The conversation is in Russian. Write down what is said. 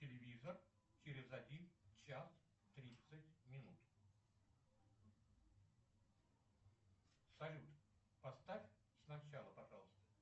телевизор через один час тридцать минут салют поставь сначала пожалуйста